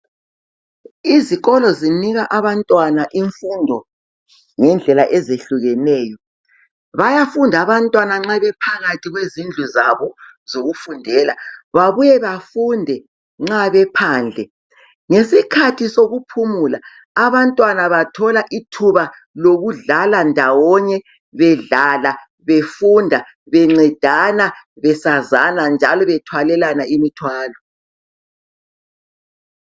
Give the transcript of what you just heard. Izikolo zinika abantwana imfundo ngendlela ezehlukeneyo bayafunda abantwana nxa bephakathi kwezindlu zabo zokufundela. Babuye bafunde nxa bephandle ngesikhathi sokuphumula abantwana bathola ithuba lokudlala ndawonye bedlala befunda bencedana besazana njalo bethwalelana imithwalo.